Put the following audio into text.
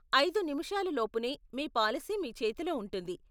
ఐదు నిముషాలు లోపునే మీ పాలసీ మీ చేతిలో ఉంటుంది.